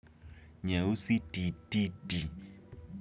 Nyeusi tititi.